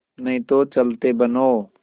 नहीं तो चलते बनो